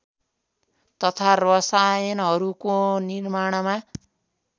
तथा रसायनहरूको निर्माणमा